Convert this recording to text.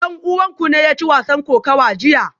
Dan uwanku ne ya ci wasan kokawa jiya?